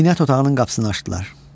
Zinət otağının qapısını açdılar.